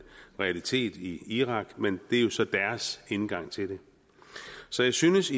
realitet i irak men det er jo så deres indgang til det så jeg synes